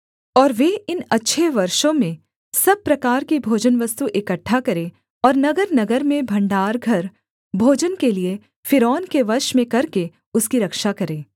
और वे इन अच्छे वर्षों में सब प्रकार की भोजनवस्तु इकट्ठा करें और नगरनगर में भण्डार घर भोजन के लिये फ़िरौन के वश में करके उसकी रक्षा करें